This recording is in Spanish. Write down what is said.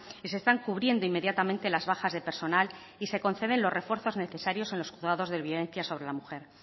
y se están cubriendo inmediatamente las bajas de personal y se conceden los refuerzos necesarios en los juzgados de violencia sobre la mujer